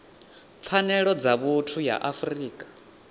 pfanelo dza vhuthu ya afrika